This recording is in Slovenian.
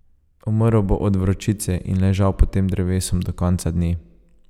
Umrl bo od vročice in ležal pod tem drevesom do konca dni.